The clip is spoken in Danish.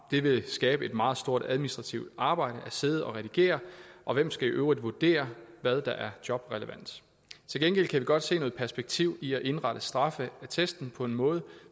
det vil skabe et meget stort administrativt arbejde at sidde og redigere og hvem skal i øvrigt vurdere hvad der er jobrelevant til gengæld kan vi godt se noget perspektiv i at indrette straffeattesten på en måde